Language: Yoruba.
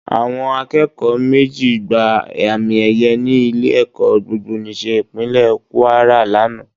Àwọn akẹ́kọ̀ọ́ méjì gba àmì ẹyẹ ní ilé-ẹ̀kọ́ Gbogbonìṣe Ìpínlẹ̀ kúárà lánàá